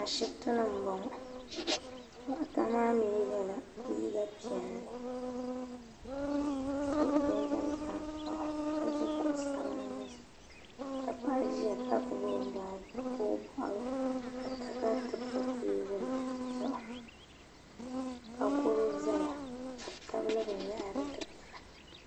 Ashiptini m boŋɔ doɣata maa mee yɛla liiga piɛlli ka so jinjiɛm tankpaɣu ka ʒi kuɣu sabinli zuɣu ka paɣa ʒia ka gbibi o baaji ka o ka goro zaya ka bɛ tabili binyahiri dikpina.